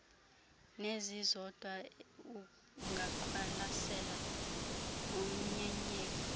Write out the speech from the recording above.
nezizodwa ungaqwalaselwa umnyenyevu